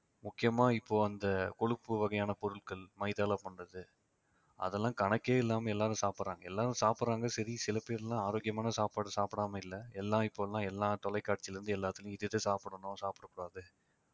முக்கியமா இப்போ அந்த கொழுப்பு வகையான பொருட்கள் மைதால பண்றது அதெல்லாம் கணக்கே இல்லாமல் எல்லாரும் சாப்பிடுறாங்க எல்லாரும் சாப்பிடுறாங்க சரி சில பேர்லாம் ஆரோக்கியமான சாப்பாடு சாப்பிடாமல் இல்லை எல்லாம் இப்ப எல்லாம் எல்லா தொலைக்காட்சியில இருந்து எல்லாத்துலயும் இது இதை சாப்பிடணும் சாப்பிடக் கூடாது